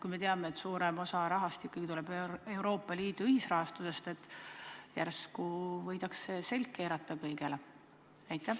Kui me teame, et suurem osa rahast tuleb Euroopa Liidu ühisrahastusest, siis järsku võidakse kõigile selg keerata.